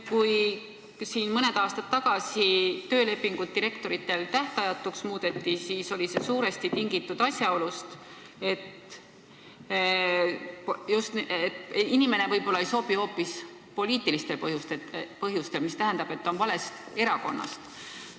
Kui mõned aastad tagasi muudeti direktorite töölepingud tähtajatuks, siis oli see suuresti tingitud asjaolust, et inimene ei pruukinud ametisse sobida hoopis poliitilistel põhjustel: ta võis olla valest erakonnast.